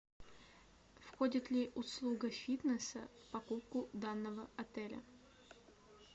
входит ли услуга фитнеса в покупку данного отеля